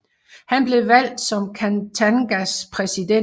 Han blev valgt som Katangas præsident